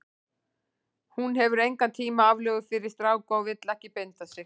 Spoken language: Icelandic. Hún hefur engan tíma aflögu fyrir stráka og vill ekki binda sig.